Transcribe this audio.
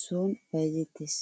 son bayizzettes.